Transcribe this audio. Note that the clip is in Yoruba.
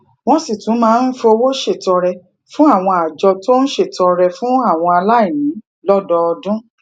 wón sì tún máa ń fowó ṣètọrẹ fún àwọn àjọ tó ń ṣètọrẹ fún àwọn aláìní lódọọdún